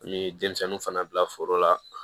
An ye denmisɛnninw fana bila foro la